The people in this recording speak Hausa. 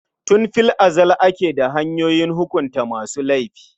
Tun fil azal ake da hanyoyin hukunta masu laifi.